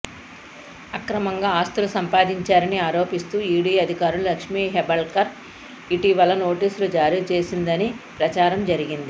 అక్రమంగా ఆస్తులు సంపాదించారని ఆరోపిస్తూ ఈడీ అధికారులు లక్ష్మి హెబ్బాళ్కర్ ఇటీవల నోటీసులు జారీ చేసిందని ప్రచారం జరిగింది